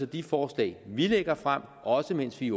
de forslag vi lægger frem også mens vi